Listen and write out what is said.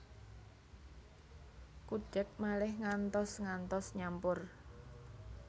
Kudhek malih ngantos ngantos nyampur